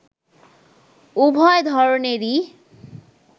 উভয় ধরনেরই